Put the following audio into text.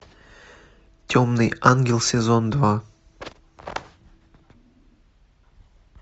темный ангел сезон два